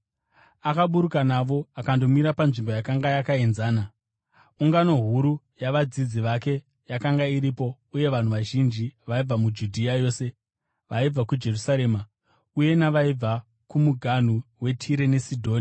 Akaburuka navo akandomira panzvimbo yakanga yakaenzana. Ungano huru yavadzidzi vake yakanga iripo uye navanhu vazhinji vaibva muJudhea yose, vaibva kuJerusarema, uye navaibva kumuganhu weTire neSidhoni,